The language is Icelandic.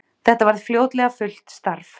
Þetta varð fljótlega fullt starf.